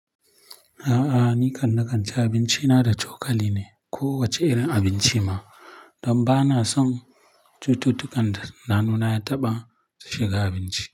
A'a ni kan na kan ci abinci na da cokali ne. Ko wace irin abinci ma. Don ba na son cututtukan da na hannuna ya taɓa su shiga abinci.